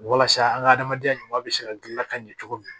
Walasa an ka adamadenya ɲuman bɛ se ka gilan ka ɲɛ cogo min na